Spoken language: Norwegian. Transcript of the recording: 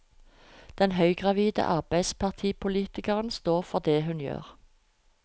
Den høygravide arbeiderpartipolitikeren står for det hun gjør.